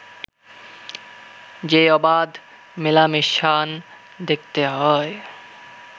যে অবাধ মেলামেশান দেখতে হয়